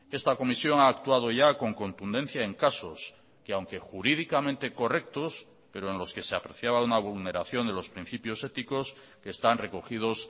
esta comisión ha actuado ya con contundencia en casos que aunque jurídicamente correctos pero en los que se apreciaba una vulneración de los principios éticos que están recogidos